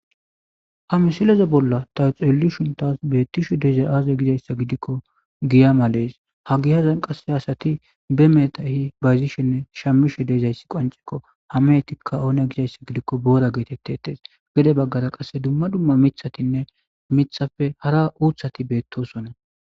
ha misileze bolla tawu xelishunbtas beettishe de'izay qaaze gizayssa gidikko giya malees ha gi hazan qasse asati be metahi bayzishenne shammishe deezayssi qoancekko hamehetikka oone gizayssa gidikko boora geetette etes gede baggara qasse dumma dumma mithatinne mithafe hara uuthati beettosonna